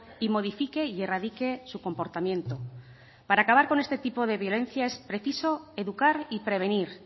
y modifique y erradique su comportamiento para acabar con este tipo de violencia es preciso educar y prevenir